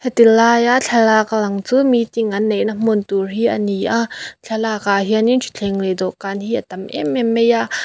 tilaia thlalak a lang chu meeting an neihna hmun tur hi ani a thlalak ah hianin ṭhuthleng leh dawhkân hi a tam em em mai a.